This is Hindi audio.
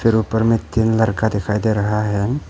ऊपर में तीन लड़का दिखाई दे रहा है।